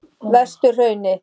Vesturhrauni